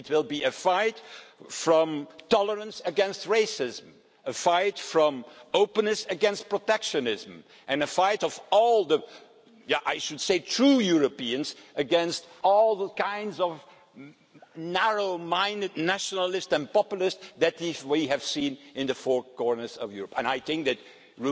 It will be a fight between tolerance and racism, a fight of openness against protectionism, and a fight by all the I should say true Europeans against all the kinds of narrow minded nationalists and populists that we have seen in the four corners of Europe. And I think that, just